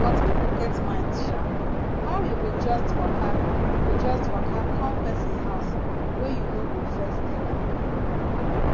but pipo get mind sha how you go just waka go just waka come pesin house wey you no go first tel am